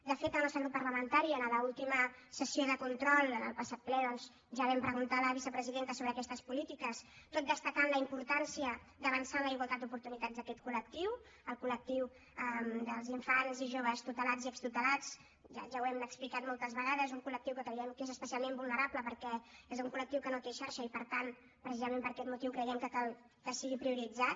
de fet el nostre grup parlamentari a la última sessió de control en el passat ple doncs ja vam preguntar a la vicepresidenta sobre aquestes polítiques tot destacant la importància d’avançar en la igualtat d’oportunitats d’aquest col·telats ja ho hem explicat moltes vegades un colque creiem que és especialment vulnerable perquè és un col·lectiu que no té xarxa i per tant precisament per aquest motiu creiem que cal que sigui prioritzat